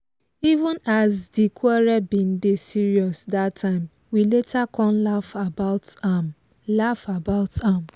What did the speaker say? even as di quarrel bin dey serious dat time we later come laugh about am laugh about am